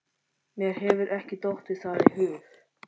Mér hefur ekki dottið það í hug.